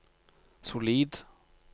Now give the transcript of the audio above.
solid